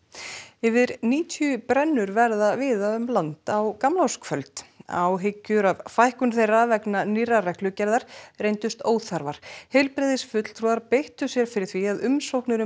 yfir níutíu brennur verða víða um land á gamlárskvöld áhyggjur af fækkun þeirra vegna nýrrar reglugerðar reyndust óþarfar heilbrigðisfulltrúar beittu sér fyrir því að umsóknir um